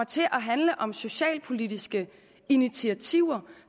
til at handle om socialpolitiske initiativer